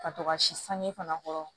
Ka to ka si sange fana kɔrɔ